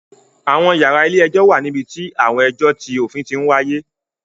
Àwọn yàrá ilé-ẹjọ̀ wà níbi tí àwọn ẹjọ ti òfin ti wáyé